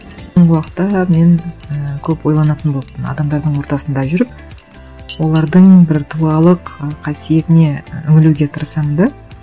уақытта мен ііі көп ойланатын болыппын адамдардың ортасында жүріп олардың бір тұлғалық ы қасиетіне үңілуге тырысамын да